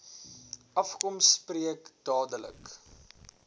afkom spreek dadelik